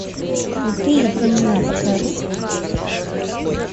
крутые времена покажи